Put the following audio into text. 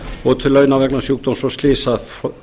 og til launa vegna sjúkdóms og slysaforfalla